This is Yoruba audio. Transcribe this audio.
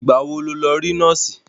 Ìgbà wo ló lọ rí nọ́ọ̀sì?